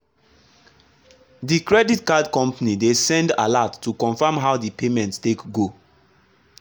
the credit card company dey send alert to confirm how the payment take go.